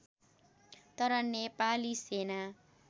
तर नेपाली सेना